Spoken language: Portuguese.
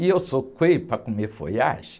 E eu sou coelho para comer folhagem?